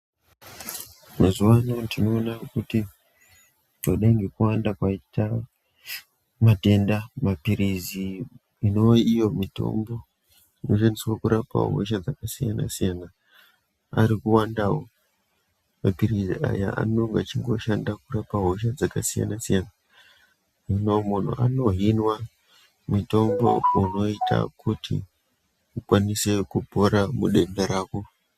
Mazuwa ano tinoona kuti kudai ngekuwanda kwaite matenda mapirizi inowe iyo mitombo inoshandiswa kurapa hosha dzakasiyana siyana ari kwandawo. Mapirizi anonga eingoshanda kurapa hosha dzakasiyana siyana. Mumwe muntu unohinwa mutombo unoita kuti akwanise kupora kudenda rako.